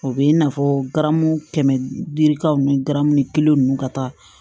O bɛ i n'a fɔ garamu kɛmɛ dirikaw ni garamu kelen ninnu ka taa